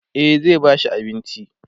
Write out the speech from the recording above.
e zai ba shi abinci